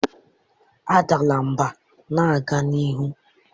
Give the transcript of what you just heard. Adala mba, na-aga n'ihu.